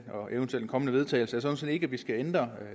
eventuel kommende vedtagelse sådan set ikke er at vi skal ændre